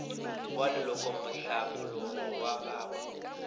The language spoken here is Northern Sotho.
wa lekola mohlapologo wa gagwe